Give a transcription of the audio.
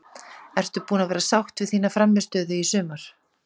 Ertu búin að vera sátt við þína frammistöðu í sumar?